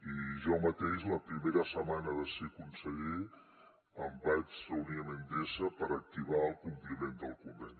i jo mateix la primera setmana de ser conseller em vaig reunir amb endesa per activar el compliment del conveni